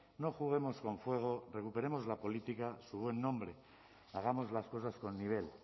no juguemos con fuego recuperemos la política su buen nombre hagamos las cosas con nivel